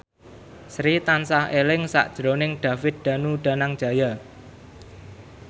Sri tansah eling sakjroning David Danu Danangjaya